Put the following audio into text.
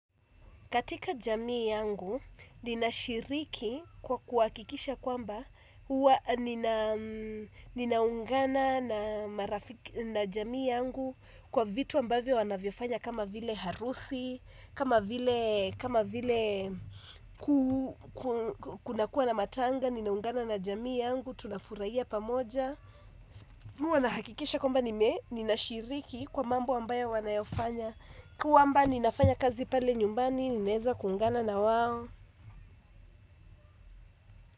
Katika jamii yangu, ninashiriki kwa kuhakikisha kwamba kuwa ninaungana na jamii yangu kwa vitu ambavyo wanavyofanya kama vile harusi, kama vile kunakuwa na matanga, ninaungana na jamii yangu, tunafurahia pamoja. Huwa nahakikisha kwamba, ninashiriki kwa mambo ambayo wanayofanya kwamba ninafanya kazi pale nyumbani, ninaeza kuungana na wao.